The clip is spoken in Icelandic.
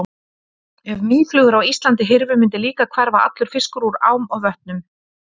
Ef mýflugur á Íslandi hyrfu mundi líka hverfa allur fiskur úr ám og vötnum.